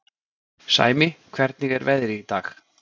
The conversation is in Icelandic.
Sæmi, hvernig er veðrið í dag?